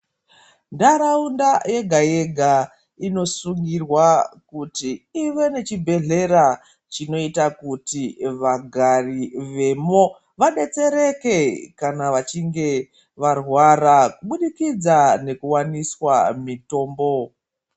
Ntaraunda yega-yega inosungirwa kuti ive nechibhehlera chinoita kuti vagari vemo vadetsereke kana vachinge varwara kubudikidza nekuwaniswa mitombo.